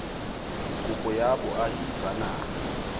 kopo ya boahi ba naha